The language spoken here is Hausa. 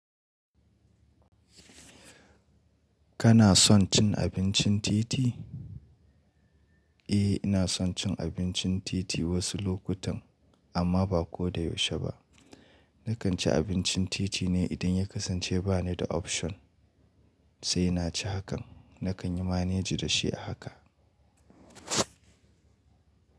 Kana son cin abincin titi? Eh ina son cin abincin titi wasu lokutan, amma ba ko da yaushe ba, Nakan ci abincin titi ne idan ya kasance ba ni da option, sai na ci hakan. Nakan yi maneji da shi a haka.